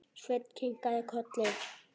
Svenni kinkar kolli.